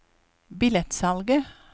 billettsalget